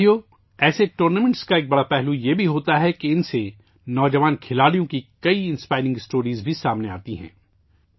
ساتھیو، ایسے ٹورنامنٹ کا ایک بڑا پہلو یہ بھی ہوتا ہے کہ ان میں نوجوان کھلاڑیوں کی کئی متاثر کن کہانیاں بھی سامنے آتی ہیں